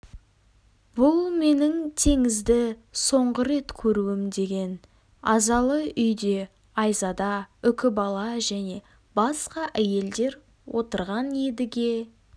бұл менің теңізді соңғы рет көруім деген азалы үйде айзада үкібала және басқа әйелдер отырған едіге